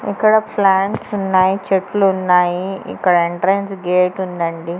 ఇక్కడ ప్లాంట్సున్నాయ్ చెట్లున్నాయి ఇక్కడ ఎంట్రెన్స్ గేటుందంది .